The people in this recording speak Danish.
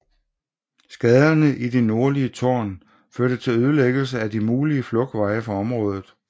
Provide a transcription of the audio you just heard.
Skaderne i det nordlige tårn førte til ødelæggelse af de mulige flugtveje fra området